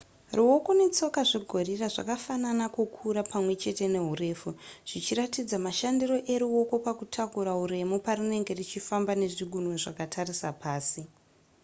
ruoko netsoka zvegorira zvakafanana kukura pamwe chete neurefu zvichiratidza mashandiro eruoko pakutakura uremu parinenge richifamba nezvigunwe zvakatarisa pasi